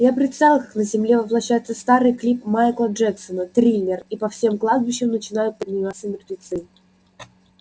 я представил как на земле воплощается старый клип майкла джексона триллер и по всем кладбищам начинают подниматься мертвецы